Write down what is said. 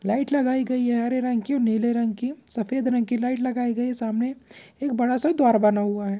Light लगाई गई है हरे रंग की और नीले रंग की सफेद रंग की लाइट लगाई है सामने एक बड़ा-सा द्वार बना हुआ है।